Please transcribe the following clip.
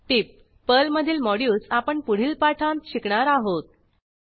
टीप पर्लमधीलModules आपण पुढील पाठांत शिकणार आहोत